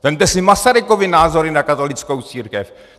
Vezměte si Masarykovy názory na katolickou církev.